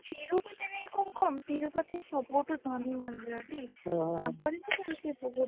ଆମ ତିରୁପତି କୋଉ କମ ତିରୁପତି ସବୁଠୁ ଧନୀ ମନ୍ଦିର ଟି ଅଂହ ତାଙ୍କର ତ ସେମିତି ବହୁତ